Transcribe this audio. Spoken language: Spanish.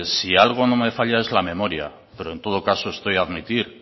si algo no me falla en la memoria pero en todo caso